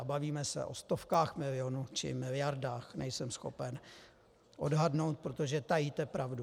A bavíme se o stovkách milionů či miliardách, nejsem schopen odhadnout, protože tajíte pravdu.